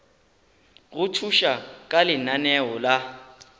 go thuša ka lenaneo la